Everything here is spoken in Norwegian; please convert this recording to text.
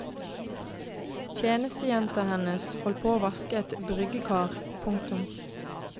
Tjenestejenta hennes holdt på å vaske et bryggekar. punktum